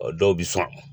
Dɔw bi san